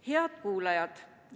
Head kuulajad!